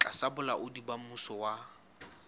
tlasa bolaodi ba mmuso wa